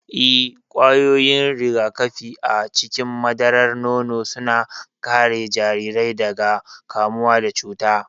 Ee, ƙwayoyin rigakafi a cikin madarar nono suna kare jarirai daga kamuwa da cuta.